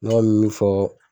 Ɲga min fɔ